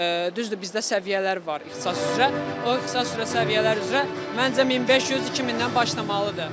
Düzdür bizdə səviyyələr var ixtisas üzrə, o ixtisas üzrə səviyyələr üzrə məncə 1500, 2000-dən başlamalıdır.